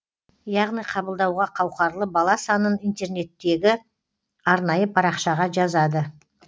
яғни қабылдауға қауқарлы бала санын интернеттегі арнайы парақшаға жазады